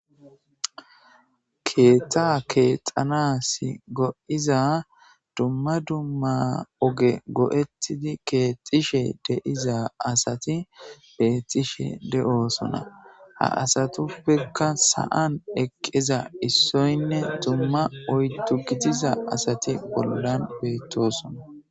Keeta keexanas go7iza dumma dumma oge go7ettidi keexxishe deiza asati beettishe de7oosona ha asatuppekka sa7an eqqeza issoynne dumma ytu gitiza asati bollan beyttosona.